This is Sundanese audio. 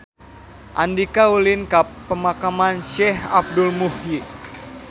Andika ulin ka Pemakaman Syekh Abdul Muhyi